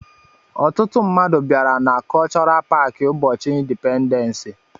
Ọtụtụ mmadụ bịara na kọlchọral paaki ụbọchị indipendensi.